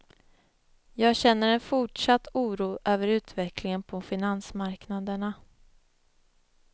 Jag känner en forsatt oro över utvecklingen på finansmarknaderna.